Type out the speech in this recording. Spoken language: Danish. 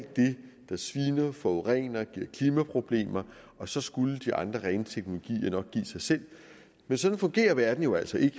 det der sviner forurener giver klimaproblemer og så skulle de andre rene teknologier nok give sig selv men sådan fungerer verden jo altså ikke